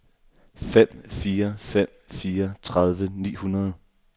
fem fire fem fire tredive ni hundrede